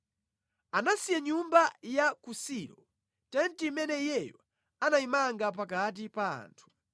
Anasiya nyumba ya ku Silo, tenti imene Iyeyo anayimanga pakati pa anthu.